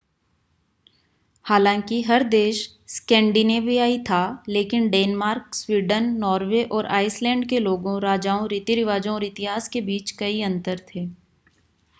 हालांकि हर देश स्कैंडिनेवियाई था लेकिन डेनमार्क स्वीडन नॉर्वे और आइसलैंड के लोगों राजाओं रीति-रिवाजों और इतिहास के बीच कई अंतर थे